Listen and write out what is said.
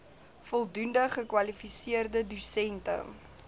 voldoende gekwalifiseerde dosente